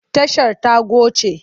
Tashar ta goce.